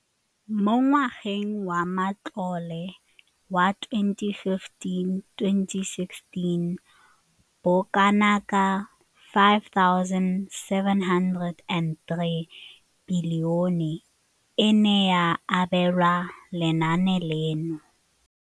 Mo ngwageng wa matlole wa 2015,16, bokanaka R5 703 bilione e ne ya abelwa lenaane leno.